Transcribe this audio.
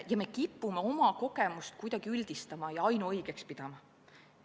Ja me kipume oma kogemust kuidagi üldistama ja ainuõigeks pidama.